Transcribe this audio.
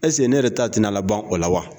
ne yɛrɛ ta tɛna laban o la wa